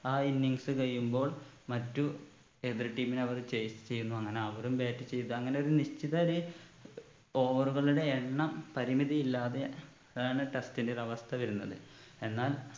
ആ innings കഴിയുമ്പോൾ മറ്റു എതിർ team നെ അവർ chase ചെയ്യുന്നു അങ്ങനെ അവരും bat ചെയ്ത് അങ്ങനൊരു നിശ്ചിത ഒരു over കളുടെ എണ്ണം പരിമിതിയില്ലാതെ അതാണ് test ന്റെ ഒരു അവസ്ഥ വരുന്നത് എന്നാൽ